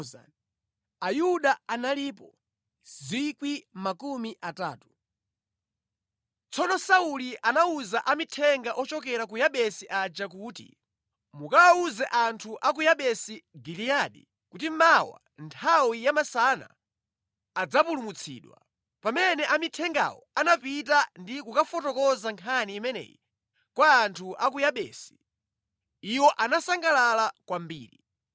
Tsono Sauli anawuza amithenga ochokera ku Yabesi aja kuti, “Mukawawuze anthu a ku Yabesi Giliyadi kuti mawa nthawi ya masana adzapulumutsidwa.” Pamene amithengawo anapita ndi kukafotokoza nkhani imeneyi kwa anthu a ku Yabesi, iwo anasangalala kwambiri.